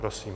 Prosím.